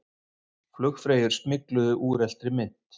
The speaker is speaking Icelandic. Flugfreyjur smygluðu úreltri mynt